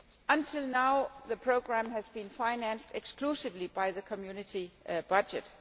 Until now, the programme has been financed exclusively by the Community budget.